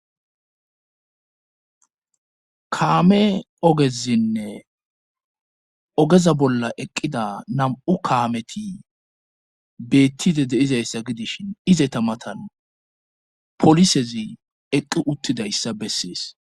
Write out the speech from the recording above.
kaame ogezinne ogeza bolla eqqida nam7u kaameti beettide deizayssa gidishin ize tamatan polisezi eqqi uttidayssa bessees